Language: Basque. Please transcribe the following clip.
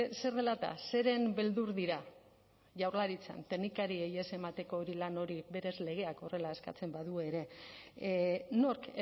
zer dela eta zeren beldur dira jaurlaritzan teknikariei ez emateko hori lan hori berez legeak horrela eskatzen badu ere nork